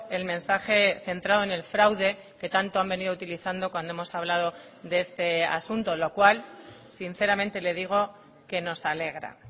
el mensaje centrado en el fraude que tanto han venido utilizando cuando hemos hablado de este asunto lo cual sinceramente le digo que nos alegra